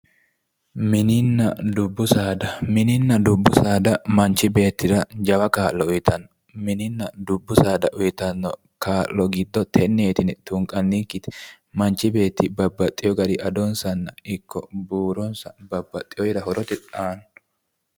Mininna dubbu saada, mininna dubbu saada manchi beettira jawa kaa'lo uytanno, mininna dubbu saada uytanno kaa'lo giddo tenneeti yine tunqannikkite, manchi beetti bababxxewo garinni adonsa ikko buuronsa babbaxxeworira horote aanno.